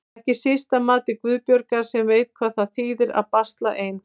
Ekki síst að mati Guðbjargar sem veit hvað það þýðir að basla ein.